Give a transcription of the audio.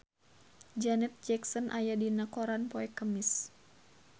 Janet Jackson aya dina koran poe Kemis